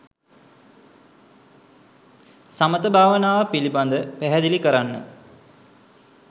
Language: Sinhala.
සමථ භාවනාව පිළිබඳ පැහැදිලි කරන්න.